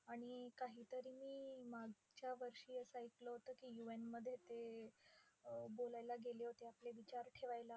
आणि काहीतरी मी मागच्या वर्षी असं ऐकलं होतं की, UN मध्ये ते अं बोलायला गेले होते, आपले विचार ठेवायला.